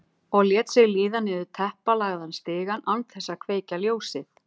Og lét sig líða niður teppalagðan stigann án þess að kveikja ljósið.